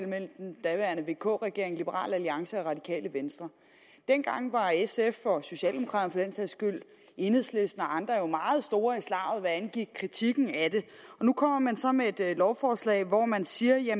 mellem den daværende vk regering liberal alliance og radikale venstre dengang var sf og socialdemokraterne enhedslisten og andre jo meget store i slaget hvad angik kritikken af det nu kommer man så med et lovforslag hvor man siger at